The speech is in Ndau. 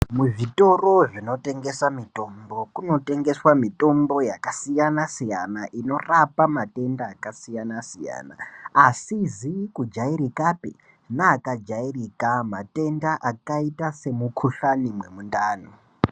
Muzvitoro zvinotengesa mitombo kunotengeswe mitombo yakasiyana siyana inorapa mikuhlani yakasiyana siyana asizi kujairikapi neakajairika matenda akaita semukuhlani wemundani.